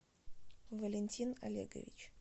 валентин олегович